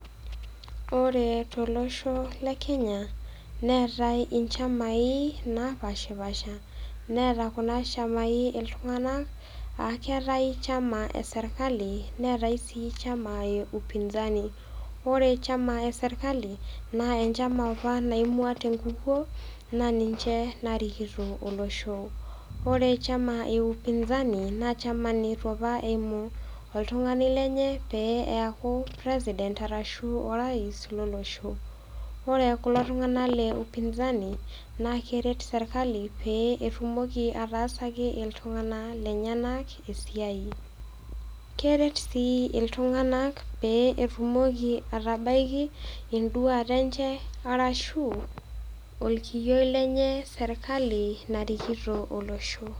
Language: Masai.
Ore tolosho le Kenya, neatai inchamai napaashpaasha, neata kuna shamai iltung'anak, aa keatai chama e sirkali, neatai sii chama e upinzani ore enchama e sirkali, naa enchama opa naimua te enkukuo naa ninche naarikito olosho. Ore chama e upinzani naa enchama opa neitu eimu oltunng'ani lenye peyie eaku presiident arashu orais lolosho. Ore kulo tung'ana le upinzani naa keret sirkali pee etumoki ataasaki iltung'ana lenyena esiiai. Keret sii iltung'ana pee etumoki atabaiki induat enye arashu olkiyioi lenye serkali narikito olosho.